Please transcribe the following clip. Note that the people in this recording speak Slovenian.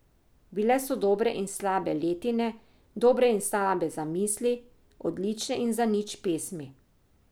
Bile so dobre in slabe letine, dobre in slabe zamisli, odlične in zanič pesmi.